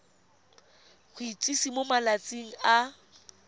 go itsise mo malatsing a